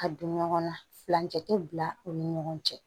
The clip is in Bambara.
Ka don ɲɔgɔn na furancɛ te bila u ni ɲɔgɔn cɛ